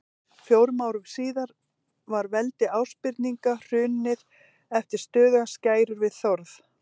Fjórum árum síðar var veldi Ásbirninga hrunið eftir stöðugar skærur við Þórð.